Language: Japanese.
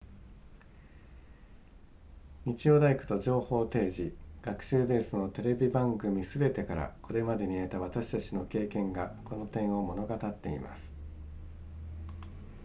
日曜大工と情報提示学習ベースのテレビ番組すべてからこれまでに得た私たちの経験がこの点を物語っています